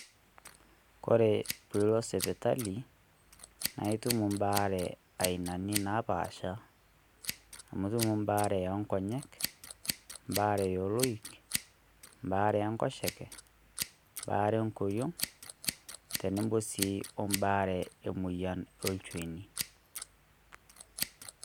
Kore pilot sipitali naa itum ebaare ainani napaasha amu itum ebaare oo ng'onyek, ebaare oloik, ebaare Enkoshoke, ebaare engoriong' tenebo sii ebaare olnchoni.